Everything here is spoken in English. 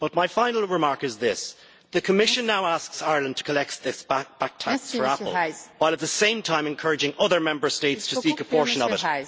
My final remark is this the Commission now asks Ireland to collect this back tax from Apple while, at the same time, encouraging other Member States to seek a portion of it.